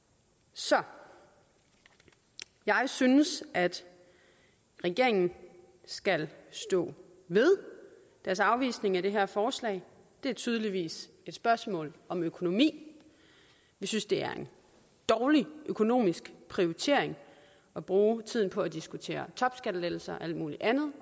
så jeg synes at regeringen skal stå ved deres afvisning af det her forslag det er tydeligvis et spørgsmål om økonomi vi synes det er en dårlig økonomisk prioritering at bruge tiden på at diskutere topskattelettelser og alt muligt andet